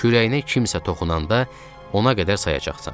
Kürəyinə kimsə toxunanda ona qədər sayacaqsan.